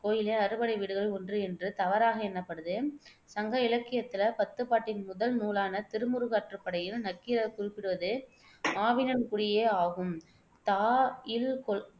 கோயிலே அறுபடை வீடுகளில் ஒன்று என்று தவறாக எண்ணப்படுது. சங்க இலக்கியத்தில பத்துப்பாட்டின் முதல் நூலான திருமுருகாற்றுப்படையில் நக்கீரர் குறிப்பிடுவது ஆவினன்குடியே ஆகும் தா இல்